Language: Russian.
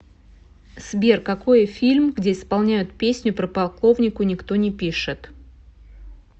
сбер какои фильм где исполняют песню про полковнику никто не пишет